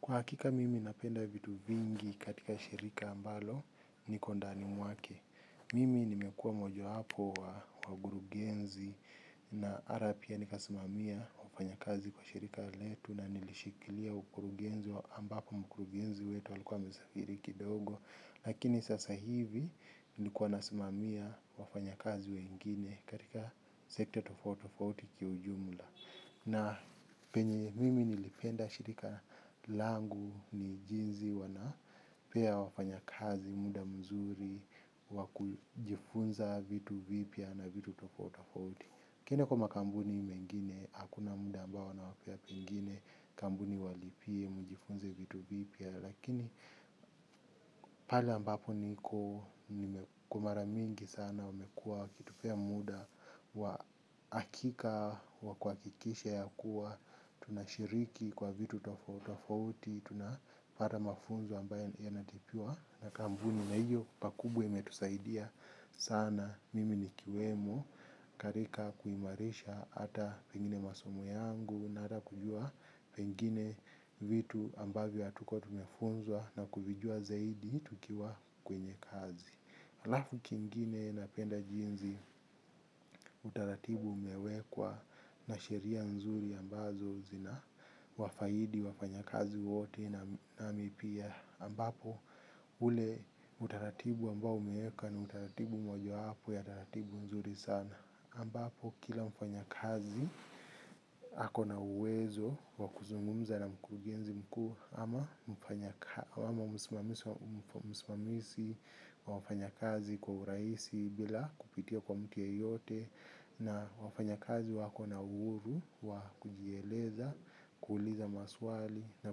Kwa hakika mimi napenda vitu vingi katika shirika ambalo niko ndani mwake. Mimi nimekua mojawapo wa wakurugenzi na hata pia nikasimamia wafanyakazi kwa shirika letu na nilishikilia ukurugenzi wa ambako mkurugenzi wetu alikuwa mesafiri kidogo. Lakini sasa hivi ni kuwa nasimamia wafanyakazi wengine katika sekta tofauti tofauti kiujumula. Na penye mimi nilipenda shirika langu ni jinsi wanapea wafanyakazi, muda mzuri, wa kujifunza vitu vipya na vitu tofauti tofauti. Ukienda kwa makampuni mengine, hakuna muda ambao wanapea pengine, kampuni walipie, mjifunze vitu vipya. Lakini pale ambapo niko kwa mara mingi sana wamekua wakitupea muda wa hakika wa kuhakikisha ya kuwa tunashiriki kwa vitu tofauti tofauti tunapata mafunzo ambayo yanalipiwa. Na kampuni na hiyo pakubwa imetusaidia sana mimi nikiwemo katika kuimarisha hata pengine masomo yangu na atakujua pengine vitu ambavyo hatuko tumefunzwa na kujua zaidi tukiwa kwenye kazi. Alafu kingine napenda jinsi utaratibu umewekwa na sheria nzuri ambazo zina wafaidi wafanya kazi wote nami pia ambapo ule utaratibu ambao umewekwa na utaratibu mojawapo ya utaratibu mzuri sana. Ambapo kila mfanyakazi ako na uwezo wa kuzungumza na mkurugenzi mkuu ama msimamizi wafanya kazi kwa urahisi bila kupitia kwa mtu yoyote na wafanyakazi wako na uhuru wa kujieleza, kuuliza maswali na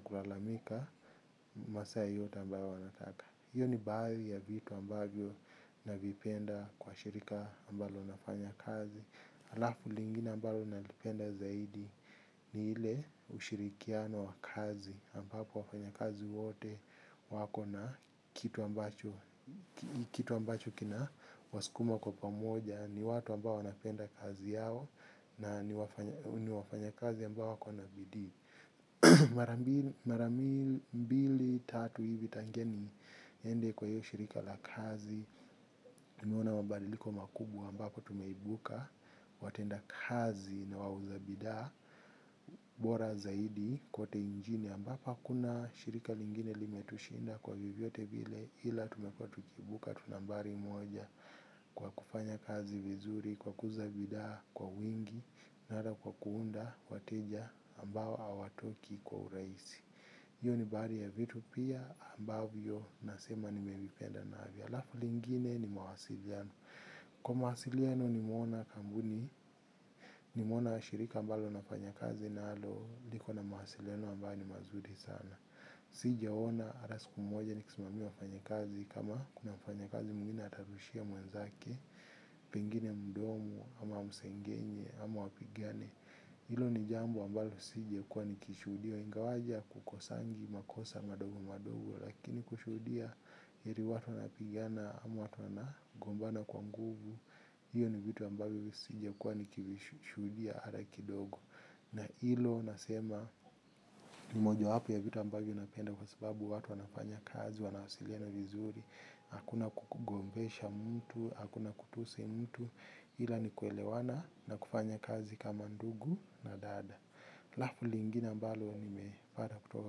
kulalamika masaa yote ambayo wanataka. Hiyo ni baadhi ya vitu ambayo navipenda kwa shirika ambalo nafanya kazi. Alafu lingine ambalo nalipenda zaidi ni ile ushirikiano wa kazi ambapo wafanya kazi wote wako na kitu ambacho kina wasukuma kwa pamoja. Ni watu ambayo napenda kazi yao na ni wafanyakazi ambao wako na bidii. Mara mbili tatu hivi tangia ni niende kwa hiyo shirika la kazi tumewaona mabadiliko makubwa ambapo tumeibuka watendakazi na wauza bidhaa bora zaidi kote nchini ambapo kuna shirika lingine limetushinda kwa vyovyote vile ila tumekuwa tukiibuka tu nambari moja. Kwa kufanya kazi vizuri kwa kuuza bidhaa kwa wingi na kwa kuunda wateja ambao hawatoki kwa urahisi hiyo ni baadhi ya vitu pia ambavyo nasema nimevipenda navyo alafu lingine ni mawasiliano. Kwa mawasiliano nimeona kampuni. Nimeona shirika ambalo nafanya kazi nalo. Liko na mawasiliano ambayo ni mazuri sana. Sijaona hata siku moja nikisimamia wafanyakazi. Kama kuna mfanyakazi mwingine atarushia mwenzake pengine mdomo ama amsengenye ama wapigane. Ilo ni jambo ambalo sijakuwa nikishudia ingawaje kukosangi makosa madogo madogo. Lakini kushuhudia eti watu wanapigana ama watu wanagombana kwa nguvu hiyo ni vitu ambavyo sijakuwa nikishuhudia hata kidogo. Na hilo nasema mmojawapo ya vitu ambavyo napenda kwa sababu watu anafanya kazi wanawasiliana vizuri. Hakuna kukugombesha mtu, hakuna kutusi mtu ila ni kuelewana na kufanya kazi kama ndugu na dada. Alafu lingine ambalo nimepata kutoka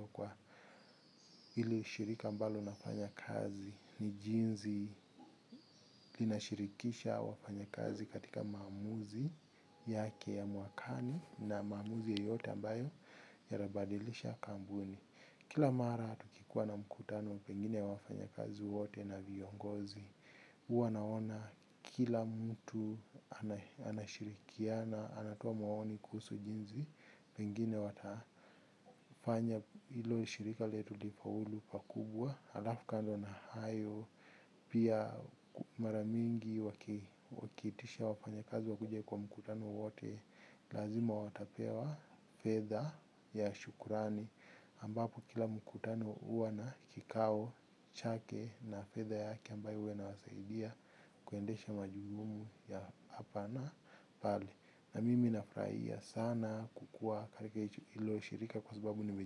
kwa hili shirika ambalo nafanya kazi ni jinsi linashirikisha wafanyakazi katika maamuzi yake ya mwakani na maamuzi yoyote ambayo yatabadilisha kampuni. Kila mara tukikua na mkutano pengine wafanyakazi wote na viongozi huwa naona kila mtu anashirikiana anatoa maoni kuhusu jinsi pengine watafanya hilo shirika letu lifaulu pakubwa. Alafu kando na hayo. Pia mara mingi wakiitisha wafanyakazi wakuje kwa mkutano wowote. Lazima watapewa fedha ya shukurani. Ambapo kila mkutano huwa na kikao, chake na fedha yake ambayo huwa inawasaidia. Kuendesha majukumu ya hapa na pale na mimi nafurahia sana kukua katika hilo shirika kwa sababu ni mej.